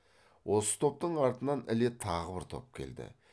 осы топтың артынан іле тағы бір топ келді